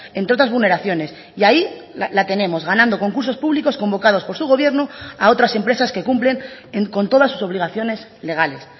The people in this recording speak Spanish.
entre otras vulneraciones y ahí la tenemos ganando concursos públicos convocados por su gobierno a otras empresas que cumplen con todas sus obligaciones legales